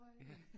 Ja